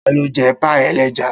Ta ló Jẹ́ páì-ẹlẹ́ja?